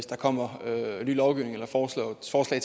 der kommer ny lovgivning eller forslag